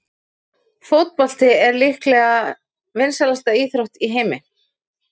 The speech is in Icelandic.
Fótbolti er líklega vinsælasta íþrótt í heimi.